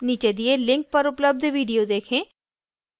नीचे दिए link पर उपलब्ध video देखें